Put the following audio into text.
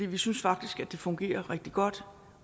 vi synes faktisk at det fungerer rigtig godt